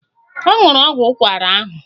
Ọ nwụrụ ọgwụ ụkwara ahụ